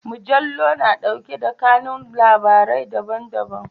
Mujallu na ɗauke da kanun labarai daban-daban.